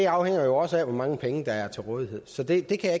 afhænger jo også af hvor mange penge der er til rådighed så det kan